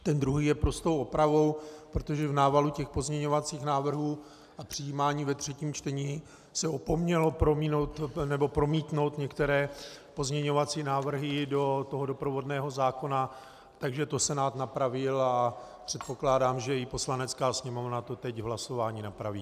Ten druhý je prostou opravou, protože v návalu těch pozměňovacích návrhů a přijímání ve třetím čtení se opomnělo promítnout některé pozměňovací návrhy do toho doprovodného zákona, takže to Senát napravil a předpokládám, že i Poslanecká sněmovna to teď v hlasování napraví.